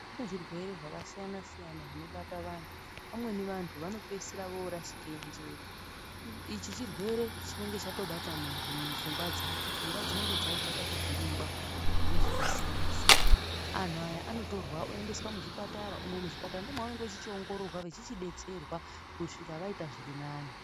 Kune zvirwere zvakasiyana siyana zvinobata vantu, vamweni vantu vanopeisire vorashike njere ichi chirwere chinenge chatobate muntu pfungwa dzake, pfungwa dzinenge dzaite kuvhiringwa ngezvinosiyana siyana antu aya anotorwa oendeswa muzvipatara umwo muzvipatara ndomavanenge vechichiongororwa vechichidetserwa kusvika vaita zvirinani.